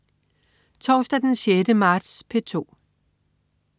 Torsdag den 6. marts - P2: